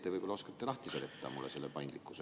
Teie võib-olla oskate lahti seletada mulle selle paindlikkuse.